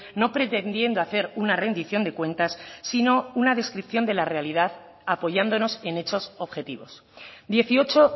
no pretendiendo hacer una rendición de cuentas sino una descripción de la realidad apoyándonos en hechos objetivos dieciocho